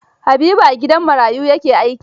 Habibu a gidan marayu ya ke aiki.